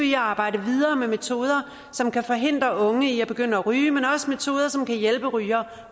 i at arbejde videre med metoder som kan forhindre unge i at begynde at ryge men også metoder som kan hjælpe rygere